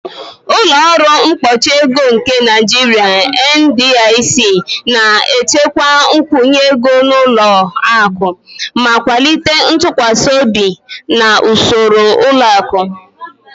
"Ụlọ ọrụ mkpuchi ego nke Naijiria (NDIC) na-echekwa nkwụnye ego ụlọ akụ ma kwalite ntụkwasị obi na usoro ụlọ akụ. "